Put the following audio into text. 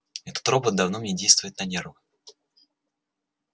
этот робот давно мне действует на нервы